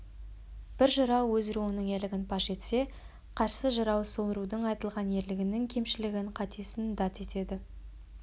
бір жырау өз руының ерлігін паш етсе қарсы жырау сол рудың айтылған ерлігінің кемшілігін қатесін дат етеді